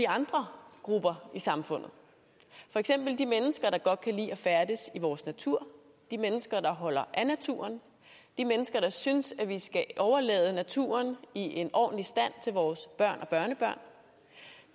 andre grupper i samfundet for eksempel de mennesker der godt kan lide at færdes i vores natur de mennesker der holder af naturen de mennesker der synes vi skal overlade naturen i en ordentlig stand til vores børn og børnebørn